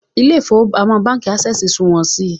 Ilé ìfowópamọ́ Ásẹ̀sì súmọ́ mi